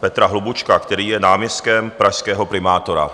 Petra Hlubučka, který je náměstkem pražského primátora.